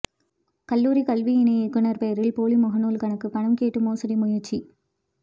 கல்லூரிக் கல்வி இணை இயக்குநா் பெயரில் போலி முகநூல் கணக்குபணம் கேட்டு மோசடி முயற்சி